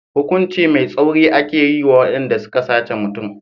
Hukunci mai tsauri ake yi wa waɗanda suka sace mutum.